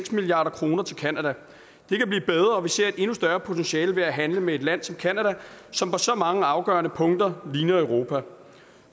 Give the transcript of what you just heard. milliard kroner til canada det kan blive bedre og vi ser et endnu større potentiale ved at handle med et land som canada som på så mange afgørende punkter ligner europa